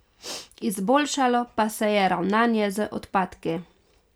Izboljšalo pa se je ravnanje z odpadki.